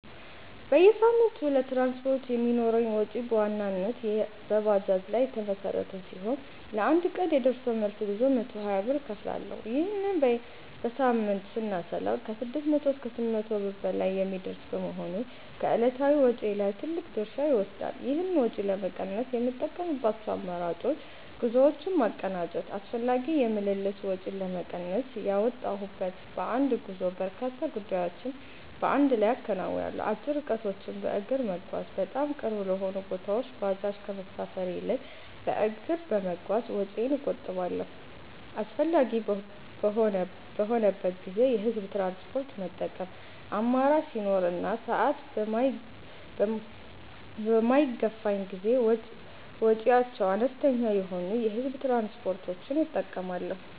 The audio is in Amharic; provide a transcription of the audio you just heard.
በየሳምንቱ ለትራንስፖርት የሚኖረኝ ወጪ በዋናነት በባጃጅ ላይ የተመሠረተ ሲሆን፣ ለአንድ ቀን የደርሶ መልስ ጉዞ 120 ብር እከፍላለሁ። ይህንን በሳምንት ስናሰላው ከ600 እስከ 800 ብር በላይ የሚደርስ በመሆኑ ከዕለታዊ ወጪዬ ላይ ትልቅ ድርሻ ይወስዳል። ይህን ወጪ ለመቀነስ የምጠቀምባቸው አማራጮች፦ ጉዞዎችን ማቀናጀት፦ አላስፈላጊ የምልልስ ወጪን ለመቀነስ፣ በወጣሁበት በአንድ ጉዞ በርካታ ጉዳዮችን በአንድ ላይ አከናውናለሁ። አጭር ርቀቶችን በእግር መጓዝ፦ በጣም ቅርብ ለሆኑ ቦታዎች ባጃጅ ከመሳፈር ይልቅ በእግር በመጓዝ ወጪዬን እቆጥባለሁ። አስፈላጊ በሚሆንበት ጊዜ የህዝብ ትራንስፖርት መጠቀም፦ አማራጭ ሲኖር እና ሰዓት በማይገፋኝ ጊዜ ወጪያቸው አነስተኛ የሆኑ የህዝብ ትራንስፖርቶችን እጠቀማለሁ።